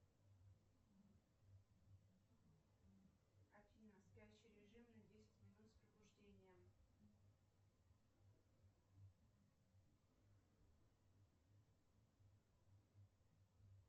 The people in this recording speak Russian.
афина спящий режим на десять минут с пробуждением